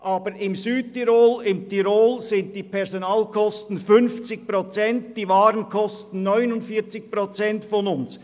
Aber im Tirol und im Südtirol betragen die Personalkosten 50 Prozent der hiesigen, und die Waren kosten 49 Prozent unserer Preise.